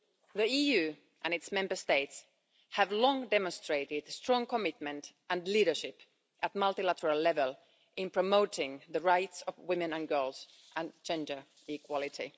The EU and its Member States have long demonstrated strong commitment and leadership at multilateral level in promoting the rights of women and girls and gender equality.